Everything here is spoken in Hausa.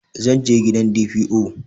zan je gidan DPO